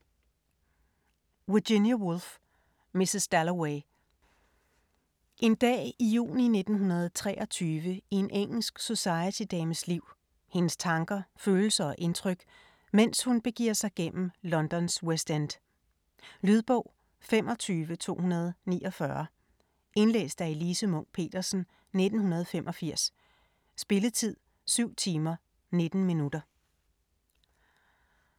Woolf, Virginia: Mrs. Dalloway En dag i juni 1923 i en engelsk society-dames liv, hendes tanker, følelser og indtryk, medens hun begiver sig gennem Londons West End. Lydbog 25249 Indlæst af Elise Munch-Petersen, 1985. Spilletid: 7 timer, 19 minutter.